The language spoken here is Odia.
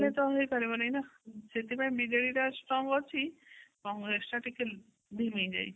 ତା ହେଲେ ତ ହେଇପାରିବନି ନା ସେଥିପାଇଁ ବିଜେପି ଟା strong ଅଛି କଂଗ୍ରେସ ଟା ଧିମେଇ ଯାଇଛି